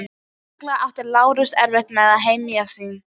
Sérstaklega átti Lárus erfitt með að hemja sig.